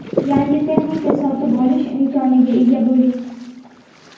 yangi texnika sotib olish imkoniga ega bo‘ling.